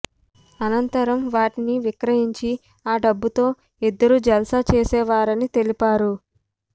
అనంతరం వాటిని విక్రయించి ఆ డబ్బుతో ఇద్దరు జల్సా చేసేవారని తెలిపారు